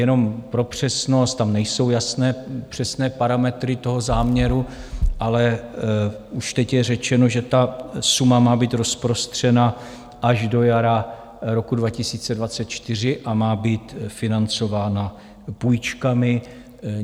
Jenom pro přesnost - tam nejsou jasné přesné parametry toho záměru, ale už teď je řečeno, že ta suma má být rozprostřena až do jara roku 2024 a má být financována půjčkami.